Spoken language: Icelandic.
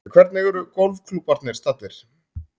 En hvernig eru golfklúbbarnir staddir